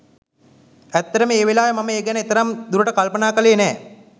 ඇත්තටම ඒ වෙලාවේ මම ඒ ගැන එතරම් දුරට කල්පනා කළේ නෑ.